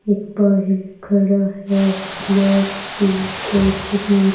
एक बाहिर खड़ा है ब्लैक टीशर्ट में --